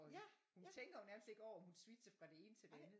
Hende hun tænker jo nærmest ikke over at hun switcher fra det ene til det andet